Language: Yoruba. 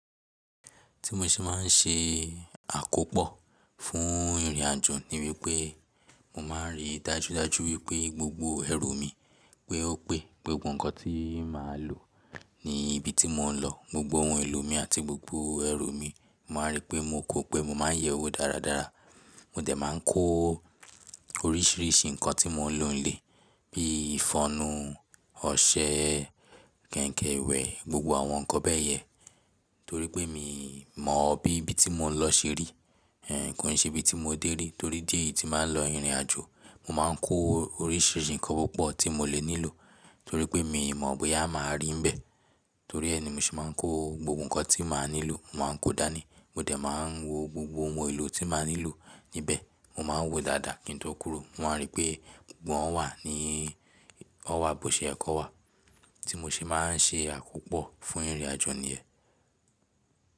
Tí mo ṣe má n ṣe àkópọ̀ fún ìrìnàjò ní wípé, mo má n rí dájúdájú wípé gbogbo ẹrù mi pé ó pé, pé gbogbo ǹkan tí màá lò ní ibi tí mò ń lọ, gbogbo ohun èlò mi àti gbogbo ẹrù mi, màá rí pé mokò pé mo má n yẹ̀ ẹ́ wò dáradára. Mo dẹ̀ má n kó oríṣìíríṣìí ǹkan tí mo n lò nílé bíi ìfọnu, ọṣẹ, kẹ̀kẹ́ ìwẹ̀, gbogbo àwọn ǹkan bẹ́ẹ̀ yẹ, torí pé mi mọ bí ibi tí mò ń lọ ṣe rí. Ẹ̀n, kò ṣe bí tí mo dé rí, torí díẹ̀ tí màá lọ ìrìnàjò, mo má n kó oríṣìíríṣìí ǹkan púpọ̀ tí mo lè nílò, torí pé mi mọ̀ bóyá màá rí níbẹ̀. Torí ẹ́ ni mo ṣe má n kó gbogbo ǹkan tí màá nílò, màá n kó dání. Mo dẹ̀ má n wo gbogbo ohun èlò tí màá nílò níbẹ̀, mo má n wo dáadáa kí n tó kúrò. Wọ́n á rí pé gbogbo ọ̀n wà ní, ọ́ wà bó ṣe ẹ kó wa. Tí mo ṣe má n ṣe àkópọ̀ fún ìrìnàjò ni ẹ́.